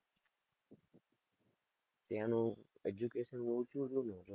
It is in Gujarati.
ત્યાં નું education બઉ ઊંચું